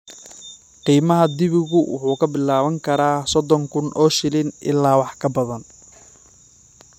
Qiimaha dibigu wuxuu ka bilaaban karaa soddon kun oo shilin ilaa wax ka badan.